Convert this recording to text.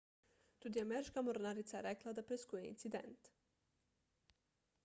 tudi ameriška mornarica je rekla da preiskuje incident